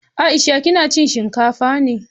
Aisha kina cin shinkafa ne?